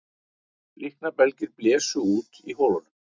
Líknarbelgir blésu út í holunum